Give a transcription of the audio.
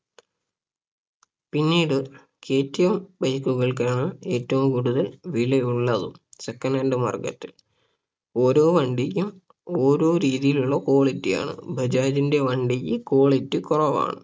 പിന്നീട് K T M bike കൾക്കാണ് ഏറ്റവും കൂടുതൽ വിലയുളളതും Second hand market ഓരോ വണ്ടിക്കും ഓരോ രീതിയിലുള്ള quality ആണ് ബജാജിന്റെ വണ്ടിക്ക് quality കുറവാണ്